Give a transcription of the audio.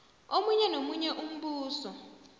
omunye nomunye umbuso